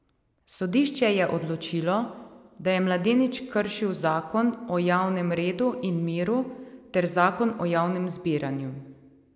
Sodišče je odločilo, da je mladenič kršil zakon o javnem redu in miru ter zakon o javnem zbiranju.